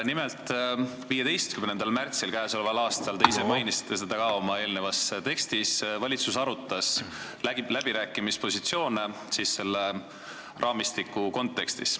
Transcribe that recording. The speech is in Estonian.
Nimelt, 15. märtsil k.a, te ise mainisite seda ka oma eelnevas tekstis, arutas valitsus läbirääkimispositsioone selle raamistiku kontekstis.